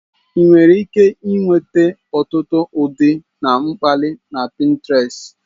Ị nwere ike nweta ọtụtụ ụdị na mkpali na Pintrest.